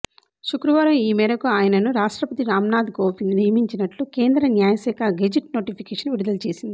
శుక్రవారం ఈమేరకు ఆయనను రాష్ట్రపతి రామ్నాథ్ కోవింద్ నియమించినట్లు కేంద్ర న్యాయ శాఖ గెజిట్ నోటిఫికేషన్ విడుదల చేసింది